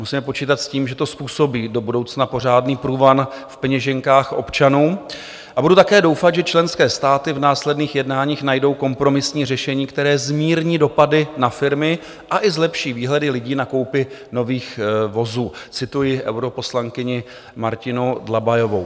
"Musíme počítat s tím, že to způsobí do budoucna pořádný průvan v peněženkách občanů, a budu také doufat, že členské státy v následných jednáních najdou kompromisní řešení, které zmírní dopady na firmy a i zlepší výhledy lidí na koupi nových vozů," cituji europoslankyni Martinu Dlabajovou.